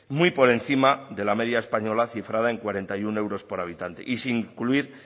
muy por encima de la media española cifrada en cuarenta y uno euros por habitante y sin incluir